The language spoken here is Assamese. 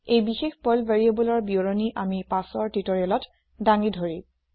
এই বিশেষ পাৰ্ল variableৰ বিৱৰণি আমি পাছৰ টিওটৰিয়েলত ডাঙি ধৰিম